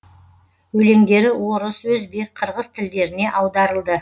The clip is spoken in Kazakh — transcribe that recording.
өлеңдері орыс өзбек қырғыз тілдеріне аударылды